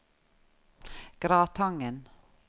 Gratangen